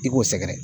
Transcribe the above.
I k'o sɛgɛrɛ